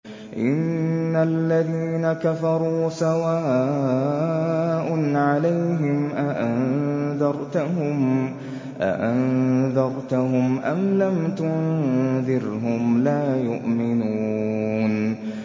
إِنَّ الَّذِينَ كَفَرُوا سَوَاءٌ عَلَيْهِمْ أَأَنذَرْتَهُمْ أَمْ لَمْ تُنذِرْهُمْ لَا يُؤْمِنُونَ